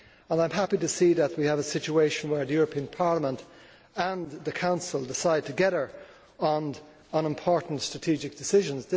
I am happy to see that we have a situation where the European Parliament and the Council decide together on important strategic decisions.